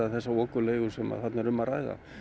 þessa okurleigu sem að þarna er um að ræða